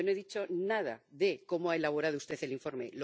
Yo no he dicho nada de cómo ha elaborado usted el informe.